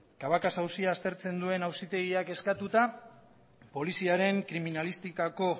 cabacas auzia aztertzen duen auzitegiak eskatuta poliziaren kriminalistikako